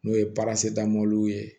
N'o ye damadɔ ye